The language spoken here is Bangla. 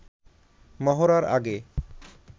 মহড়ার আগে